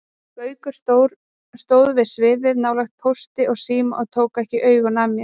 Gaukur stóð við sviðið, nálægt Pósti og Síma og tók ekki augun af mér.